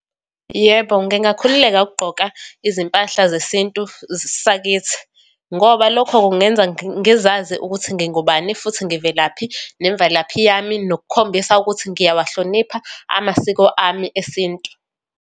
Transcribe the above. Yebo, ngingakhululeka ukugqoka izimpahla zesintu sakithi, ngoba lokho kungenza ngizazi ukuthi ngingubani, futhi ngivelaphi, nemvelaphi yami, nokukhombisa ukuthi ngiyawahlonipha amasiko ami esintu.